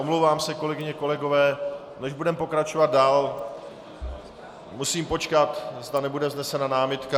Omlouvám se, kolegyně, kolegové, než budeme pokračovat dál, musím počkat, zda nebude vznesena námitka.